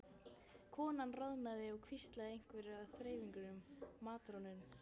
Konan roðnaði og hvíslaði einhverju að þreifingar- matrónunni.